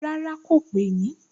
Rárá, kò pè mí